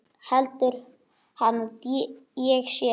Heldur hann að ég sé.